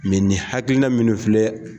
ni hakilina min filɛ.